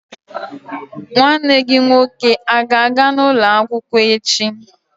Nwanne gị nwoke a-ga ana ụlọ akwụkwọ echi?